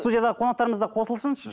студиядағы қонақтармыз да қосылсыншы